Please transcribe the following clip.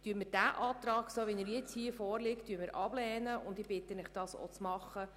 Deshalb lehnen wir den nun vorliegenden Antrag ab, und ich bitte Sie, das auch zu tun.